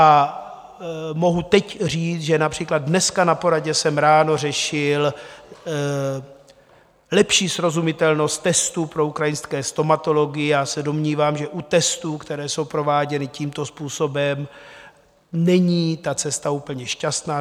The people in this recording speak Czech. A mohu teď říct, že například dneska na poradě jsem ráno řešil lepší srozumitelnost testů pro ukrajinské stomatology - já se domnívám, že u testů, které jsou prováděny tímto způsobem, není ta cesta úplně šťastná.